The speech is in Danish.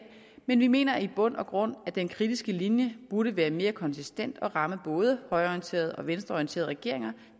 men vi mener i bund og grund at den kritiske linje burde være mere konsistent og ramme både højreorienterede og venstreorienterede regeringer